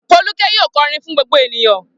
Folúkẹ́ yóò kọrin fún gbogbo ènìyàn.